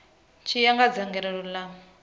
tshi ya nga dzangalelo ḽa